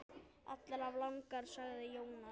Allar of langar, sagði Jónas.